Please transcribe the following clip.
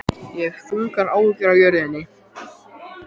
Ég hef þungar áhyggjur af jörðinni.